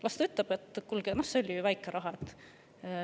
Las ta ütleb: "Kuulge, see on ju väike raha!